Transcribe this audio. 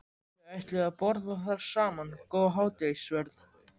Þau ætluðu að borða þar saman góðan hádegisverð.